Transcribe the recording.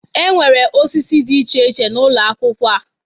E nwere osisi dị iche iche n'ụlọ akwụkwọ ha